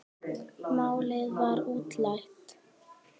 Málið var útrætt.